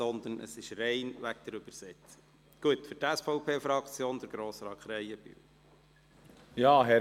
Es ist aber nicht so, dass wir den Redner unterbrechen wollen;